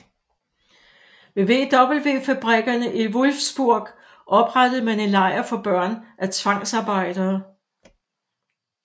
Ved VW fabrikkerne i Wolfsburg oprettede man en lejr for børn af tvangsarbejdere